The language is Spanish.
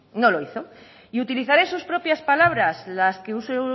no lo hizo y utilizaré sus propias palabras las que usó